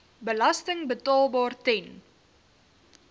belasting betaalbaar ten